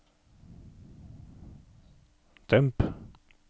demp